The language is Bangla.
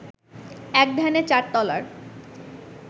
এক ধ্যানে চার তলার